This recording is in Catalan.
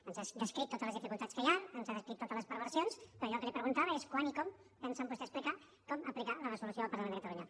ens ha descrit totes les dificultats que hi han ens ha descrit totes les perversions però allò que li preguntava és quan i com pensen vostès aplicar la resolució del parlament de catalunya